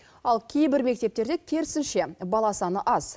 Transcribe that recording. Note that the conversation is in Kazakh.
ал кейбір мектептерде керісінше бала саны аз